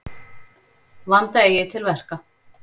Vanda eigi til verka.